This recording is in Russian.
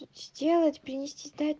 сделать принести стать